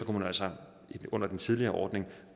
man altså under den tidligere ordning